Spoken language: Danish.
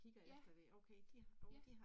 Ja. Ja